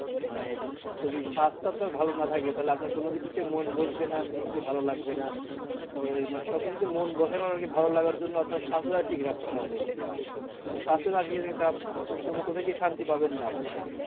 মানে যদি স্বাস্থ্য আপনার ভালো না থাকে তালে আপনার কোনো কিছুতে মন বসবে না কোনো কিছু ভালো লাগবে না তো ওই মানে সবকিছুতে মন বসানোর আরকি ভালো লাগার জন্য আপনার স্বাস্থ্যটা ঠিক রাখতে হবে। তো স্বাস্থ্য কোথাও গিয়ে শান্তি পাবেন না ভাইয়া।